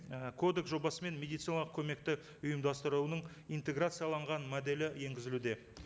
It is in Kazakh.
і кодекс жобасымен медициналық көмекті ұйымдастыруының интеграцияланған моделі енгізілуде